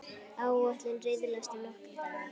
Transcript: Áætlun riðlast um nokkra daga.